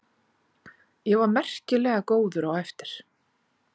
Ég var merkilega góður á eftir.